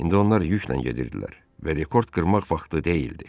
İndi onlar yüklə gedirdilər və rekord qırmaq vaxtı deyildi.